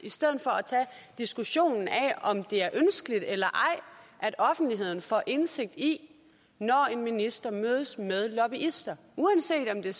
og tage diskussionen af om det er ønskeligt eller ej at offentligheden får indsigt i det når en minister mødes med lobbyister uanset om det